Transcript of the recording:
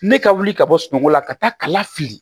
Ne ka wuli ka bɔ sunɔgɔ la ka taa kala fili